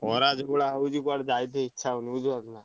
ଖରା ଯୋଉଭଳିଆ ହଉଛି କୁଆଡେ ଯାଇତେ ଇଚ୍ଛା ହଉନି ବୁଝିପାରୁଛନା।